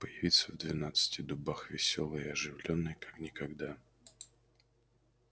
появиться в двенадцати дубах весёлой и оживлённой как никогда